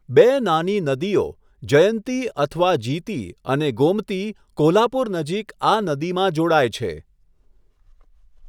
બે નાની નદીઓ, જયંતી અથવા જીતી અને ગોમતી કોલ્હાપુર નજીક આ નદીમાં જોડાય છે.